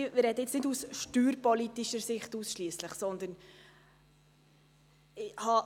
Ich spreche nun nicht ausschliesslich aus steuerpolitischer Sicht.